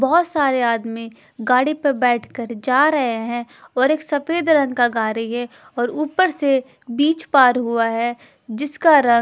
बहोत सारे आदमी गाड़ी पे बैठकर जा रहे हैं और एक सफेद रंग का गाड़ी है और ऊपर से बीच पार हुआ है जिसका रंग--